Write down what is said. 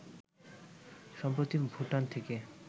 সম্প্রতি ভুটান থেকে